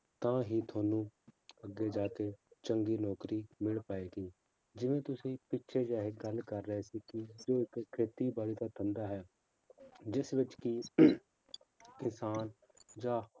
ਤਾਂ ਹੀ ਤੁਹਾਨੂੰ ਅੱਗੇ ਜਾ ਕੇ ਚੰਗੀ ਨੌਕਰੀ ਮਿਲ ਪਾਏਗੀ, ਜਿਵੇਂ ਤੁਸੀਂ ਪਿੱਛੇ ਜਿਹੇ ਗੱਲ ਕਰ ਰਹੇ ਸੀ ਕਿ ਇੱਕ ਖੇਤੀਬਾੜੀ ਦਾ ਧੰਦਾ ਹੈ ਜਿਸ ਵਿੱਚ ਕਿ ਕਿਸਾਨ ਜਾਂ